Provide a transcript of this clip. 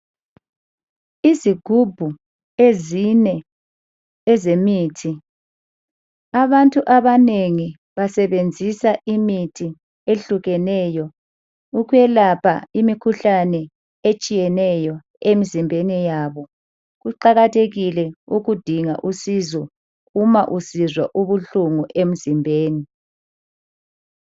Izigubhu ,ezine ezemithi ,abantu abanengi basebenzisa imithi ehlukeneyo. Ukwelapha imikhuhlane etshiyeneyo emizimbeni yabo , kuqakathekile ukudinga usizo uma usizwa ubuhlungu emzimbeni.